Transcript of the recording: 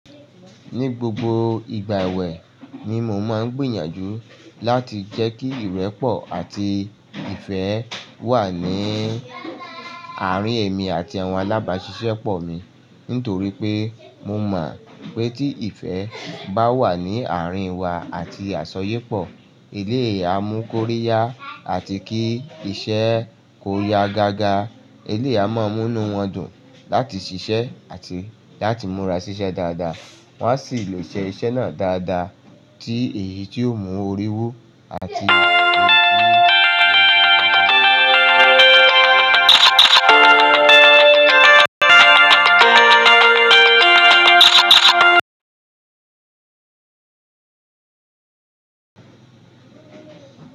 Ni gbogbo ìgbà ẹ̀wẹ̀ ni mo máa ń gbìyànjú láti jẹ́ kí ìrẹ́pọ̀ àti ìfẹ́ wà ní àárín èmi àti àwọn alábáṣiṣẹ́ pọ̀ mi. Nítorí pé mo mọ̀ pé tí ìfẹ́ bá wà ní àárín wa àti àsọyépọ̀, eleyi á mú kóríyá àti kí iṣẹ́ kó ya gágá. Eleyii á máa mú inú wọn dùn láti ṣiṣẹ́ àti láti múra ṣiṣẹ́ dáadáa. Wa sì lè je iṣẹ́ náà dáadáa tí èyí tí yóò mú orí wu àti.